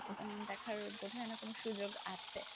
দেখার বোধ হয় না কোনো সুযোগ আছে।